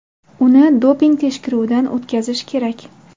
Uni doping tekshiruvidan o‘tkazish kerak.